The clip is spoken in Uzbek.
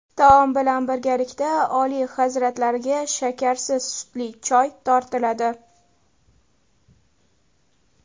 Taom bilan birgalikda Oliy hazratlariga shakarsiz sutli choy tortiladi.